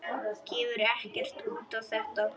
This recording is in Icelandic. Gefur ekkert út á þetta.